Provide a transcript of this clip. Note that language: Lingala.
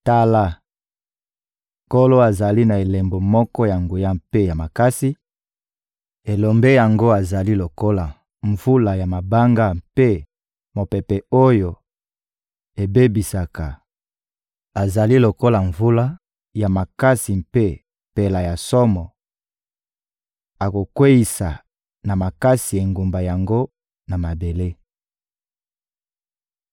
Tala, Nkolo azali na elombe moko ya nguya mpe ya makasi, elombe yango azali lokola mvula ya mabanga mpe mopepe oyo ebebisaka; azali lokola mvula ya makasi mpe mpela ya somo, akokweyisa na makasi engumba yango na mabele.